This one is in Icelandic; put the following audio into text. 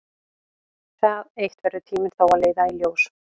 Það eitt verður tíminn þó að leiða í ljós.